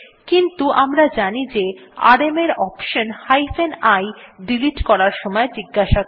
কিন্তু আমরা জানি যে আরএম কমান্ড এর অপশনহাইফেন i ডিলিট করার সময় জিজ্ঞাসা করে